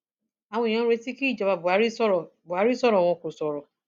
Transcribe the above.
àwọn èèyàn retí kí ìjọba buhari sọrọ buhari sọrọ wọn kò sọrọ